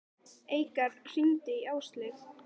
Eikar, hringdu í Ásleif.